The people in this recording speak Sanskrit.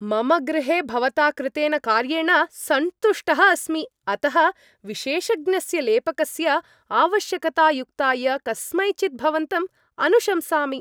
मम गृहे भवता कृतेन कार्येण सन्तुष्टः अस्मि, अतः विशेषज्ञस्य लेपकस्य आवश्यकतायुक्ताय कस्मैचित् भवन्तम् अनुशंसामि।